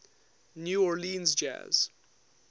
new orleans jazz